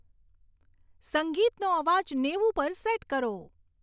સંગીતનો અવાજ નેવું પર સેટ કરો